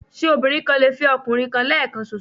Ṣé obìnrin kan lè fẹ́ ọkùnrin kan lẹ́ẹ̀kan ṣoṣo?